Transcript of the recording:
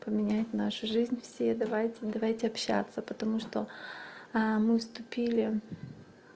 поменять нашу жизнь все давайте давайте общаться потому что мы уступили